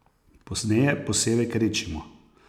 Pozneje posevek redčimo.